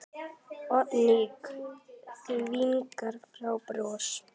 Oddný þvingar fram bros.